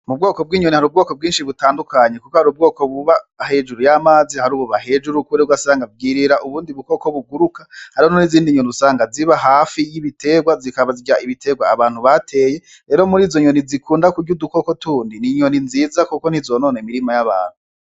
Mu bwoko bw'inyoni hari ubwoko bwinshi butandukanye, kuko hari ubwoko buba hejuru y'amazi, hari ububa hejuru ugasanga bwirira ubundi buko buguruka, hariho n'izindi nyoni usanga ziba hafi y'ibitegwa zikaba zirya ibitegwa abantu bateye, rero muri izo nyoni zikunda kurya udukoko tundi, n'inyoni nziza kuko ntizonona imirima y'abantu.